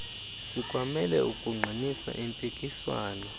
sikwamele ukuqinisa impikiswano